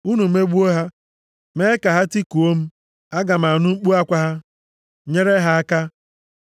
Unu megbuo ha, mee ka ha tikuo m, aga m anụ mkpu akwa ha, nyere ha aka.